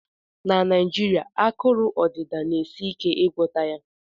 Na Naijirịa, akụrụ odịda na-esi ike ịgwọta ya